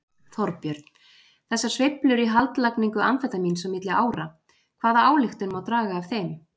Þorbjörn: Þessar sveiflur í haldlagningu amfetamíns milli ára, hvaða ályktun má draga af þeim?